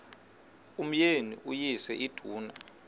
umyeni uyise iduna